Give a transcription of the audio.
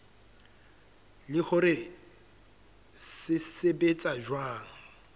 le hore se sebetsa jwang